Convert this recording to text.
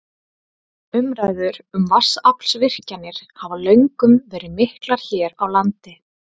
Umræður um vatnsaflsvirkjanir hafa löngum verið miklar hér á landi.